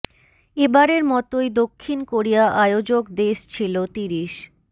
এ বারের মতোই দক্ষিণ কোরিয়া আয়োজক দেশ ছিল তিরিশ